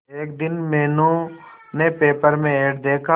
एक दिन मीनू ने पेपर में एड देखा